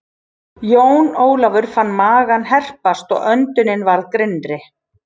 Jón Ólafur fann magann herpast og öndunin varð grynnri.